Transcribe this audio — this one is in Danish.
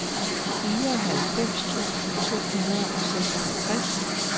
fireoghalvfems tusind to hundrede og seksoghalvtreds